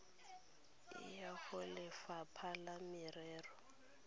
e ya golefapha la merero